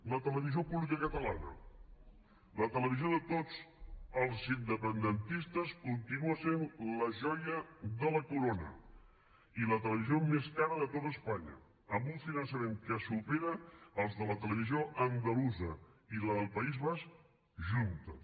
la televisió pública catalana la televisió de tots els independentistes continua sent la joia de la corona i la televisió més cara de tot espanya amb un finançament que supera els de la televisió andalusa i la del país basc juntes